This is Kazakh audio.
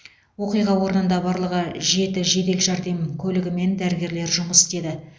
оқиға орнында барлығы жеті жедел жәрдем көлігімен дәрігерлер жұмыс істеді